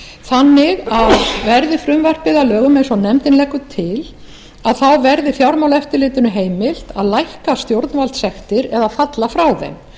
þannig að verði frumvarpið að lögum eins og nefndin leggur til verði fjármálaeftirlitinu heimilt að lækka stjórnvaldssektir eða falla frá þeim